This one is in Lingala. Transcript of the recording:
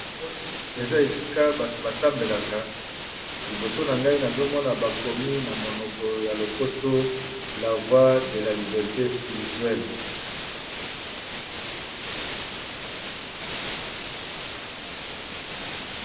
Namoni eza esika bato basambelaka. Liboso na ngai nazomona bakomi na monoko ya lopoto lavoi de la liberté spirituelle.